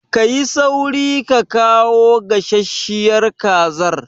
Ka yi sauri ka kawo gasasshiyar kazar!